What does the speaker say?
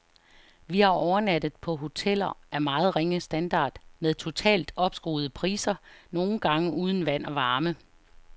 Vi har overnattet på hoteller af meget ringe standard med totalt opskruede priser, nogle gange uden vand og varme.